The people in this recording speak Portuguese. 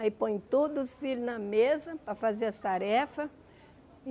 Aí põe todos os filhos na mesa para fazer as tarefas.